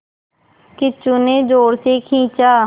किच्चू ने ज़ोर से खींचा